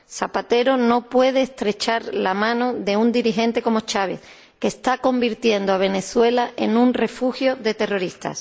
Zapatero no puede estrechar la mano de un dirigente como Chávez, que está convirtiendo Venezuela en un refugio de terroristas.